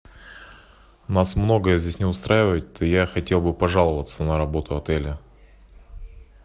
нас многое здесь не устраивает и я хотел бы пожаловаться на работу отеля